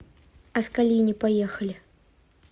аскалини поехали